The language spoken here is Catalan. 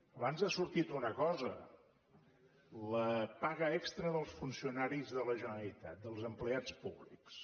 abans ha sortit una cosa la paga extra dels funcionaris de la generalitat dels empleats públics